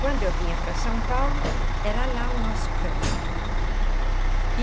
Quando eu vinha para São Paulo, era lá o nosso canto. Uhum. E.